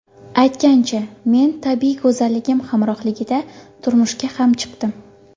Aytgancha, men tabiiy go‘zalligim hamrohligida turmushga ham chiqdim.